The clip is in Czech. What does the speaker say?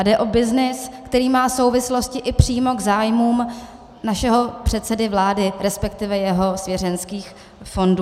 A jde o byznys, který má souvislosti i přímo k zájmům našeho předsedy vlády, respektive jeho svěřeneckých fondů.